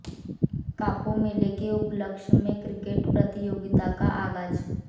कापू मेले के उपलक्ष्य में क्रिकेट प्रतियोगिता का आगाज